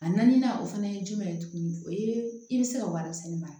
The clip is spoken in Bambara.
A naaninan o fana ye jumɛn ye tuguni i bɛ se ka warimisɛn mara